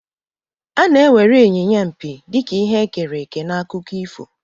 A na-ewere Inyinya mpi dị ka ihe e kere eke n'akụkọ ifo.